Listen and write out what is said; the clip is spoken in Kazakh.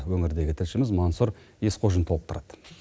өңірдегі тілшіміз мансур есқожин толықтырады